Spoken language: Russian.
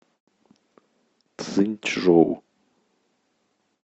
цзиньчжоу